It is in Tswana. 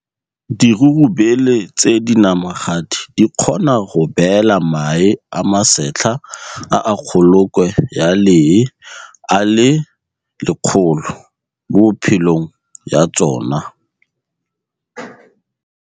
Dirurubele tse dinamagadi di kgona go beela mae a masetlha a a kgolokwe ya lee a le 100 mo bophelong ya tsona.